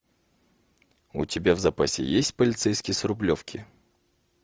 у тебя в запасе есть полицейский с рублевки